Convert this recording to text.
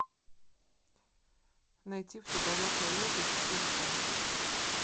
найти в то далекое лето четыре ка